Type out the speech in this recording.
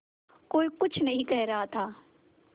कोई कुछ नहीं कह रहा था